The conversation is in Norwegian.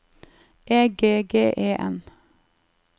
E G G E N